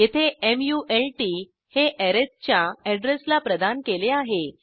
येथे मल्ट हे अरिथ च्या अॅड्रेसला प्रदान केले आहे